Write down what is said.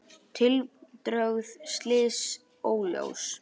Tildrög slyss óljós